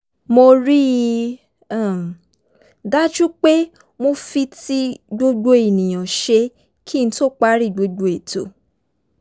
mo rí i um dájú pé mo fi ti gbogbo èèyàn ṣe kí n tó parí gbogbo ètò